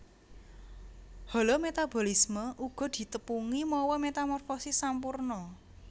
Holometabolisme uga ditepungi mawa metamorfosis sampurna